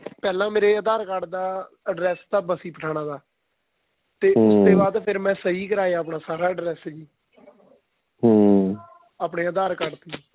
ਪਹਿਲਾਂ ਮੇਰੇ aadhar card ਦਾ address ਤਾਂ ਬੱਸੀ ਪਠਾਣਾ ਥਾ ਬਾਅਦ ਫ਼ੇਰ ਮੈਂ ਸਹੀਂ ਕਰਾਇਆ ਮੈਂ ਆਪਣਾਂ ਸਾਰਾ address ਆਪਣੇਂ aadhar card ਤੇ ਹੀ